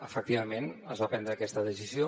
efectivament es va prendre aquesta decisió